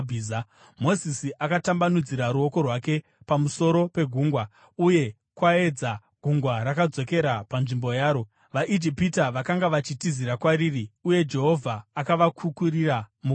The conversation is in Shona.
Mozisi akatambanudzira ruoko rwake pamusoro pegungwa, uye kwaedza, gungwa rakadzokera panzvimbo yaro. VaIjipita vakanga vachitizira kwariri, uye Jehovha akavakukurira mugungwa.